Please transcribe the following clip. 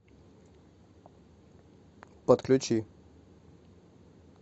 подключи